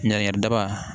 Ɲangiɲɛri daba